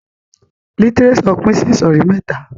Lítírésò pin sí ìsòrí mẹ́ta